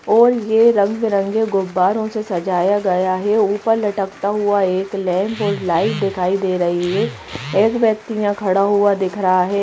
और ये रंग बिरंगे गुब्बारों से सजाया गया है ऊपर लटकता हुआ एक लैंप और लाइट दिखाई दे रही है एक व्यक्ति यहाँ खड़ा हुआ दिख रहा है।